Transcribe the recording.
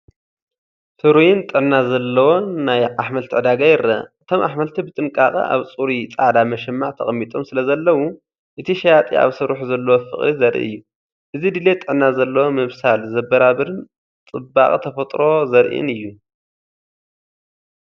ፍሩይን ጥዕና ዘለዎን ናይ ኣሕምልቲ ዕዳጋ ይረአ! እቶም ኣሕምልቲ ብጥንቃቐ ኣብ ጽሩይ ጻዕዳ መሸማዕ ተቐሚጦም ስለዘለዉ፡ እቲ ሸያጢ ኣብ ስርሑ ዘለዎ ፍቕሪ ዘርኢ እዩ። እዚ ድሌት ጥዕና ዘለዎ ምብሳል ዘበራብርን ጽባቐ ተፈጥሮ ዘርኢን እዩ!